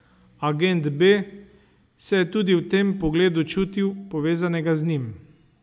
Agent B se je tudi v tem pogledu čutil povezanega z njim.